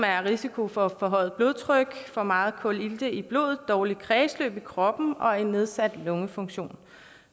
risiko for forhøjet blodtryk for meget kulilte i blodet dårligt kredsløb i kroppen og en nedsat lungefunktion